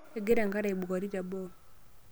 Egira enkare aibukori teboo.